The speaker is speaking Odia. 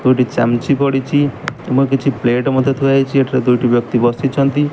ଦୁଇଟି ଚାମ୍ ଚି ପଡିଛି ଏବଂ କିଛି ପ୍ଲେଟ୍ ମଧ୍ୟ ଥୁଆ ହେଇଛି ଏଠାରେ ଦୁଇଟି ବ୍ୟକ୍ତି ବସିଛନ୍ତି।